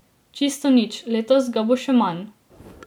Čisto nič, letos ga bo še manj.